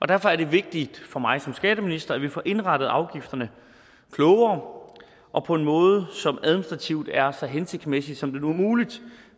derfor er det vigtigt for mig som skatteminister at vi får indrettet afgifterne klogere og på en måde som administrativt er så hensigtsmæssig som det nu er muligt